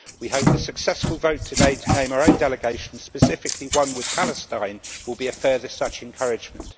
We hope the successful vote today to name our own delegation, specifically one with Palestine, will be a further such encouragement.